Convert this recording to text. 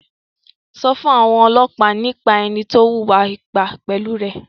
Sọ fún àwọn ọlọ́pàá nípa ẹni tó wùwà ipá pẹ̀lú rẹ̀!